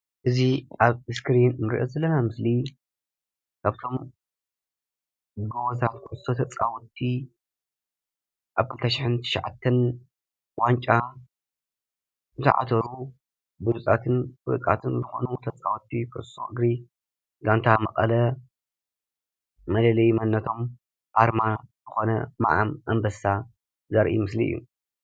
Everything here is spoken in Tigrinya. እዚ ኣብ እስክሪን እንሪኦ ዘለና ምስሊ ካብቶም ጎቦዛት ኩዕሶ ተፃወቲ ኣብ 2009 ዋንጫ ዝዓተሩ ቡሉፃትን ፍሉጣትን ታፃወትን ዝኾኑ ኩዕሶ እግሪ ጋንታ መቐለ መለለይ መንነቶም ኣርማ ዝኾነ ምዓም ኣንበሳ ዘርኢ ምስሊ እዩ።